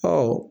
Ɔ